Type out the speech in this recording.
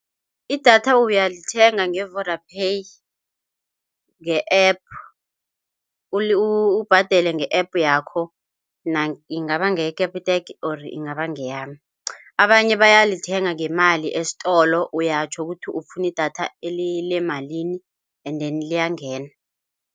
Idatha uyalithenga nge-Vodapay, nge-App ubhadele nge-App yakho ingaba ngeye-Capitec or ingaba ngeyani. Abanye bayalithenga ngemali esitolo, uyatjho ukuthi ufuna idatha eliyimalini endeni liyangena.